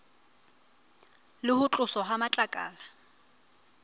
le ho tloswa ha matlakala